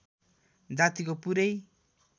जातिको पुरै